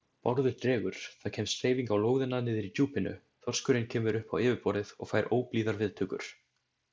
Bárður dregur, það kemst hreyfing á lóðina niðri í djúpinu, þorskurinn kemur upp á yfirborðið og fær óblíðar viðtökur.